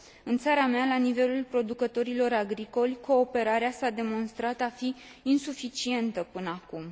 În țara mea, la nivelul producătorilor agricoli, cooperarea s a demonstrat a fi insuficientă până acum.